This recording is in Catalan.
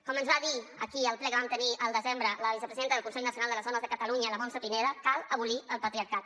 com ens va dir aquí al ple que vam tenir al desembre la vicepresidenta del consell nacional de les dones de catalunya la montse pineda cal abolir el patriarcat